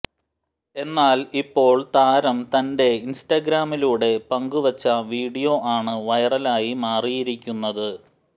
എന്നാൽ ഇപ്പോൾ താരം തന്റെ ഇൻസ്റ്റാഗ്രാമിലൂടെ പങ്കുവച്ച വീഡിയോ ആണ് വൈറലായി മാറിയിരിക്കുന്നത്